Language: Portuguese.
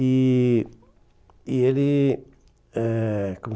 E e ele eh como